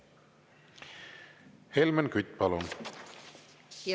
Helmen Kütt, palun!